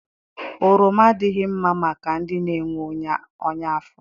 Oroma adịghị mma maka ndị na-enwe ọnya afọ.